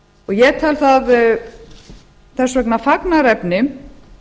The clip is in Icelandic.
ég tel það þess vegna fagnaðarefni